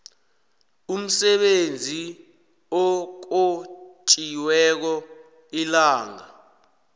umsebenzi okhonjiweko ilanga